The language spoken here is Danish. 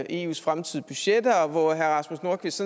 eus fremtidige budgetter og hvor herre rasmus nordqvist